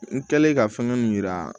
N kɛlen ka fɛngɛ min yira